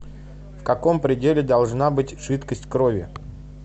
в каком пределе должна быть жидкость крови